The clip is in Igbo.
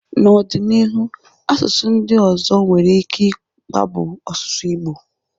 N'ọ dị n'iru asụsụ ndị ọzọ nwere ike i kpagbụ asụsụ Igbo.